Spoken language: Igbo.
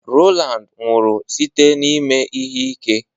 Rowland nwụrụ site n'ime ihe ike.